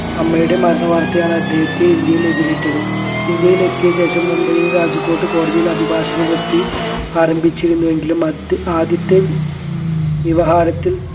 അമ്മയുടെ മരണവാർത്തയാണ് അദ്ദേഹത്തെ ഇന്ത്യയിൽ എതിരേറ്റത് ഇന്ത്യയിൽ എത്തിയ ശേഷം മുംബയിൽ രാജ്കോട്ട് കോടതിയിൽ അഭിഭാഷക വൃത്തി ആരംഭിച്ചിരുന്നുവെങ്കിലും അദ്ദേ ആദ്യത്തെ വ്യവഹാരത്തിൽ